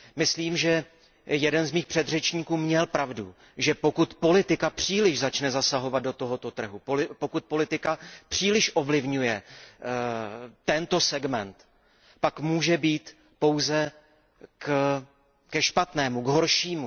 Myslím, že jeden z mých předřečníků měl pravdu, že pokud politika příliš začne zasahovat do tohoto trhu, pokud politika příliš ovlivňuje tento segment, pak může být pouze ke špatnému, k horšímu.